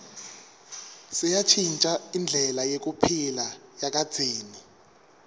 seyantjintja indlela yekuphila yakadzeni